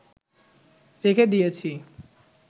রেখে দিয়েছি